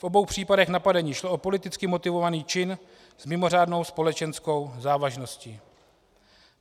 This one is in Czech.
V obou případech napadení šlo o politicky motivovaný čin s mimořádnou společenskou závažností.